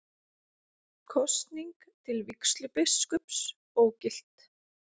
Kosning til vígslubiskups ógilt